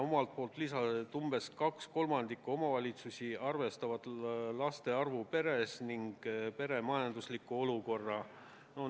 Omalt poolt ta lisas, et umbes 2/3 omavalitsusi arvestab laste arvu peres ning pere majanduslikku olukorda.